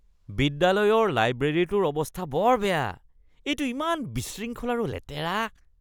বিদ্যালয়ৰ লাইব্ৰেৰীটোৰ অৱস্থা বৰ বেয়া; এইটো ইমান বিশৃংখল আৰু লেতেৰা।